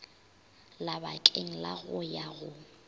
labakeng la go ya go